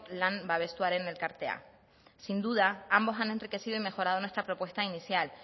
lan babestuaren elkartea sin duda ambos han enriquecido y mejorado nuestra propuesta inicial